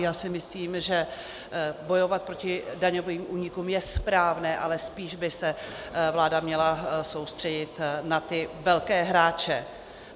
Já si myslím, že bojovat proti daňovým únikům je správné, ale spíš by se vláda měla soustředit na ty velké hráče.